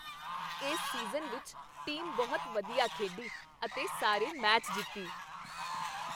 ਇਸ ਸੀਜ਼ਨ ਵਿੱਚ ਟੀਮ ਬਹੁਤ ਵਧੀਆ ਖੇਡੀ ਅਤੇ ਸਾਰੇ ਮੈਚ ਜਿੱਤੀ ।